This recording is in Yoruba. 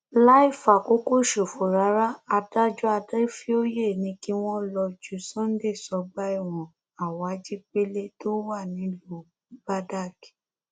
láì fàkókò ṣòfò rárá adájọ adéfioyè ni kí wọn lọọ ju sunday sọgbà ẹwọn awhajipele tó wà nílùú badág